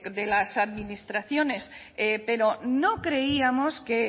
de las administraciones pero no creíamos que